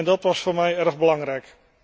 Dat was voor mij erg belangrijk.